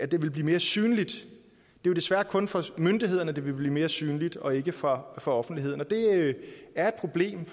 det vil blive mere synligt det er desværre kun for myndighederne at det vil blive mere synligt og ikke for for offentligheden og det er et problem